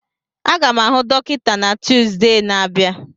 Aga m ahụ dọkịta na Tuzdee na-abịa